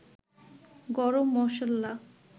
গরম মসল্লা